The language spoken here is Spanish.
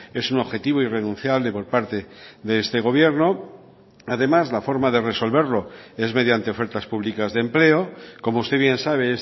es un objetivo irrenunciable por parte de este gobierno además la forma de resolverlo es mediante ofertas públicas de empleo como usted bien sabe